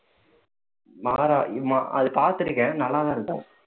மாறா அது பார்த்து இருக்கேன் நல்லா தான் இருக்கும்